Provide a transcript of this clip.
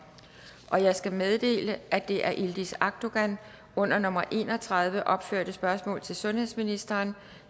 jeg skal meddele at det af yildiz akdogan under nummer en og tredive opførte spørgsmål til sundhedsministeren